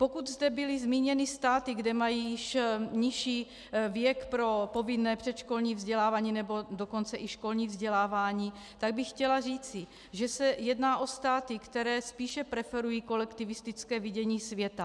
Pokud zde byly zmíněny státy, kde mají již nižší věk pro povinné předškolní vzdělávání, nebo dokonce i školní vzdělávání, tak bych chtěla říci, že se jedná o státy, které spíše preferují kolektivistické vidění světa.